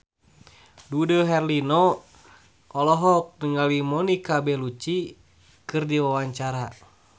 Dude Herlino olohok ningali Monica Belluci keur diwawancara